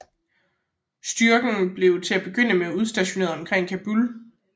Styrken blev til at begynde med udstationeret omkring Kabul